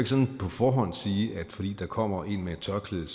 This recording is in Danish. sådan på forhånd sige at fordi der kommer en med et tørklæde